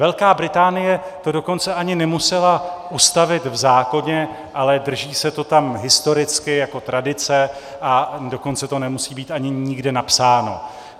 Velká Británie to dokonce ani nemusela ustavit v zákoně, ale drží se to tam historicky jako tradice, a dokonce to nemusí být ani nikde napsáno.